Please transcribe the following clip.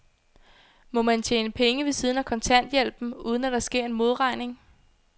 Må man tjene penge ved siden af kontanthjælpen, uden at der sker en modregning?